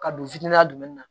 Ka don fitini na dumuni na